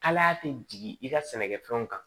Kalaya tɛ jigin i ka sɛnɛkɛfɛnw kan